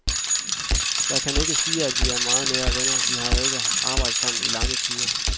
Jeg kan ikke sige, at vi er meget nære venner, vi har jo ikke arbejdet sammen i lange tider.